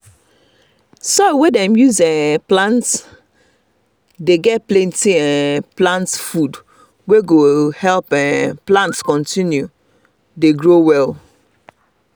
soil wey dem dey use um plant dey get plenty um plant food wey go help um plant continue dey grow well.